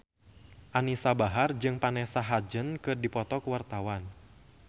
Anisa Bahar jeung Vanessa Hudgens keur dipoto ku wartawan